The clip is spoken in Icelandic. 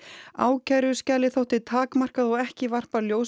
ákæruskjalið þótti takmarkað og ekki varpa ljósi